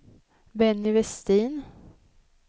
Benny Vestin